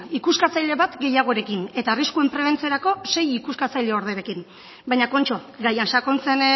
ikuskatzaile bat gehiagorekin eta arriskuen prebentziorako sei ikuskatzaile orderekin baina kontxo gaia sakontzen